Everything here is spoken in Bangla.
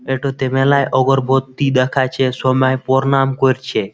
একটু তেমেলায় অগোরবত্তী দেখাছে সময় পরনাম করছে।